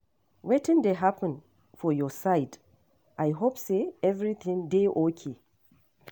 Wetin dey happen for your side? I hope say everything dey okay.